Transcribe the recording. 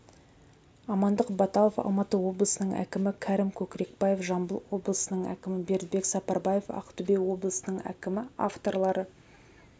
амандық баталов алматы облысының әкімі кәрім көкірекбаев жамбыл облысының әкімі бердібек сапарбаев ақтөбе облысының әкімі авторлары